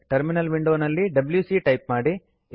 terminal ವಿಂಡೋನಲ್ಲಿ W C type ಮಾಡಿ